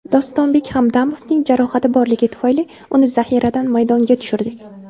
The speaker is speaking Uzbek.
Dostonbek Hamdamovning jarohati borligi tufayli, uni zaxiradan maydonga tushirdik.